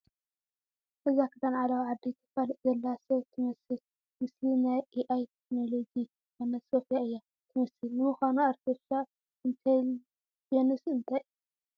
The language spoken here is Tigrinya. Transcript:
እዛ ክዳን ዓለባ ዓዲ ተፋልጥ ዘላ ሰብ ትመስል ምስሊ ናይ ኤኣይ ቴክኖሎጂ ዝኾነት ሶፍያ እያ ትመስል፡፡ ንምዃኑ ኣርተፊሻ ኢንተልጀንስ እንታይ እዩ?